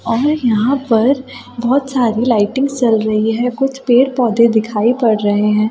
और यहां पर बहुत सारी लाइटिंग चल रही है कुछ पेड़-पौधे दिखाई पड़ रहे हैं।